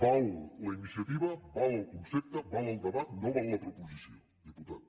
val la iniciativa val el concepte val el debat no val la proposició diputat